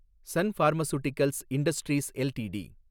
Sun Pharmaceuticals Industries LTD